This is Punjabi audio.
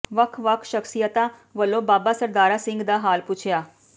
ਵੱਖ ਵੱਖ ਸ਼ਖ਼ਸੀਅਤਾਂ ਵੱਲੋਂ ਬਾਬਾ ਸਰਦਾਰਾ ਸਿੰਘ ਦਾ ਹਾਲ ਪੁੱਛਿਆ